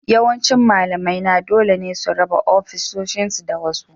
Yawancin malamaina dole ne su raba ofisoshinsu da wasu